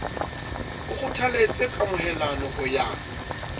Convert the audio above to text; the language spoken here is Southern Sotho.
o kgothaletse kamohelano ho ya